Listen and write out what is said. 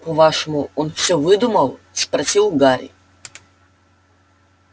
по-вашему он всё выдумал спросил гарри